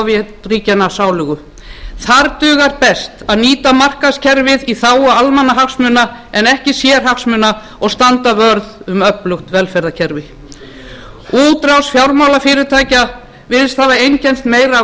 ríkiskapítalismi sovétríkjanna sálugu þar dugar best að nýta markaðskerfið í þágu almannahagsmuna en ekki sérhagsmuna og standa vörð um öflugt velferðarkerfi útrás fjármálafyrirtækja virðist hafa einkennst meira af